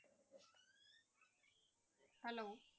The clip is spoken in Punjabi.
Hello